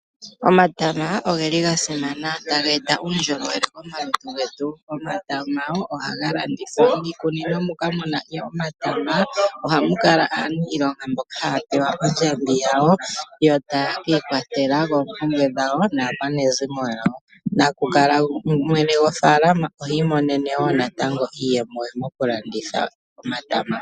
Omatama oge li ga simana taga e ta uundjolowele momalutu getu. Omatama ohaga landithwa. Iikunino mokamu na omatama ohamu kala aaniilonga mboka haya pewa ondjambi yawo, yo taye kiikwathela moompumbwe dhawo naakwanezimo yawo. Mwene gwofaalama ohi imonene wo natango iiyemo ye mokulanditha omatama.